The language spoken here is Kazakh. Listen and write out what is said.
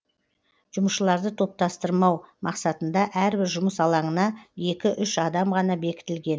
жұмысшыларды топтастырмау мақсатында әрбір жұмыс алаңына екі үш адам ғана бекітілген